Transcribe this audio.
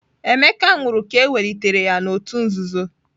Emeka nwụrụ ka ewelitere ya n'òtù nzuzo.